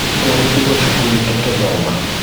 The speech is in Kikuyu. Tũgũtigwo cukuru tũgĩthoma